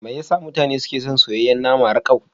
Me yasa mutane suke son soyayyen nama rakau?